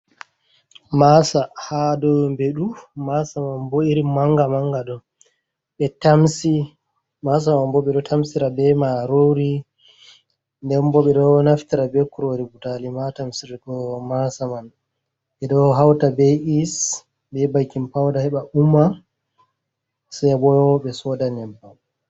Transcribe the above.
Maasa ha dou mbemɗe du masa man bo irin manga manga ɗo, masa man bo ɓe ɗo tamsira be marori nden bo ɓe ɗo naftira be kurori butali matamro masa man ɓe ɗo hauta be’is be baikin pauda heɓa umma se boyo ɓe soda nyebbam.